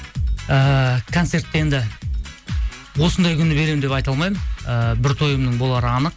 ііі концерт енді осындай күні беремін деп айта алмаймын ыыы бір тойымның болары анық